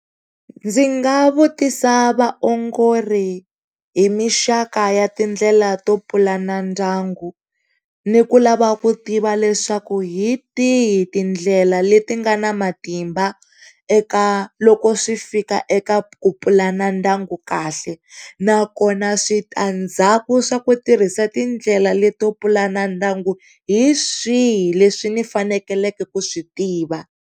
Ndzi nga vutisa vaongori hi mixaka ya tindlela to pulana ndyangu, ni ku lava ku tiva leswaku hi tihi tindlela leti nga na matimba eka, loko swi fika eka ku pulana ndyangu kahle nakona switandzhaku swa ku tirhisa tindlela leto pulana ndyangu hi swihi leswi ni faneleke ku swi tiva.